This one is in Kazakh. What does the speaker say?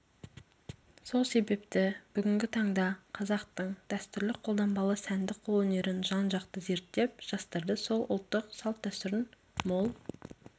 сол себепті бүгінгі таңда қазақтың дәстүрлі қолданбалы сәндік қолөнерін жан-жақты зерттеп жастарды сол ұлттық салт-дәстүрдің мол